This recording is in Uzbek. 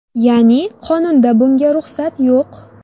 Ya’ni qonunda bunga ruxsat yo‘q.